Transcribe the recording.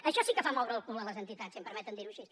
això sí que fa moure el cul a les entitats si em permeten dir·ho així